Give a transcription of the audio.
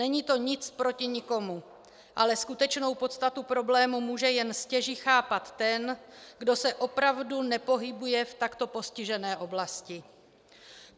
Není to nic proti nikomu, ale skutečnou podstatu problému může jen stěží chápat ten, kdo se opravdu nepohybuje v takto postižené oblasti.